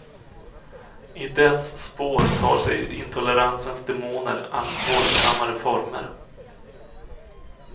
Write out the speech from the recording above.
I dess spår tar sig intoleransens demoner allt våldsammare former.